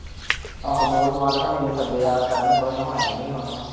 ਆਹੋ ਮੋਲ ਮਾਲ ਹੁਣੀ ਵੀ ਸੱਦੇ ਆ ਕਰਣ ਕੁਰਣ ਹੁਣਾ ਨੇ ਵੀ ਆਉਣਾ ਵਾ